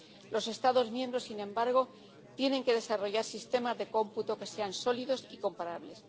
Los Estados miembros, sin embargo, tienen que desarrollar sistemas de cómputo que sean sólidos y comparables.